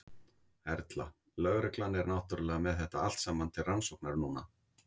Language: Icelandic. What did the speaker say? Erla: Lögreglan er náttúrulega með þetta allt saman til rannsóknar núna?